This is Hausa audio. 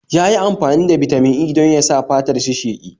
Yayi amfani da Bitamin E dan yasa fatar shi sheƙi